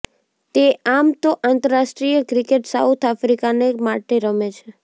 તે આમ તો આંતરરાષ્ટ્રીય ક્રિકેટ સાઉથ આફ્રિકાને માટે રમે છે